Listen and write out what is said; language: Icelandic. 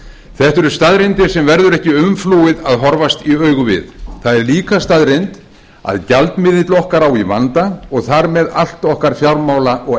þetta eru staðreyndir sem verður ekki umflúið að horfast í augu við það er líka staðreynd að gjaldmiðill okkar á í vanda og þar með allt okkar fjármála og